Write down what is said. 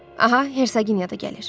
Aha, Herseqinya da gəlir.